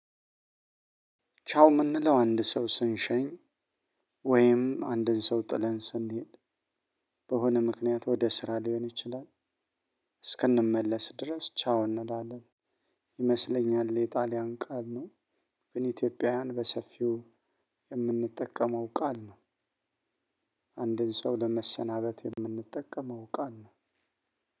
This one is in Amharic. ቻው ምንለው አንድ ሰው ስንሸኝ ወይም አንድን ሰው ጥለን ስንሄድ በሆነ ምክንያት ወደ ስራ ሊሆን ይችላል እስክንመለስ ድረስ ቻው እንላለን። ይመስለኛል የጣሊያን ቃል ነው። ግን ኢትዮጵያውያን በሰፊው እምንጠቀመው ቃል ነው። አንድን ሰው ለመሰናበት የምንጠቀመው ቃል ነው።